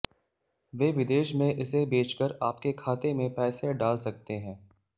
वे विदेश में इसे बेचकर आपके खाते में पैसे डाल सकते हैं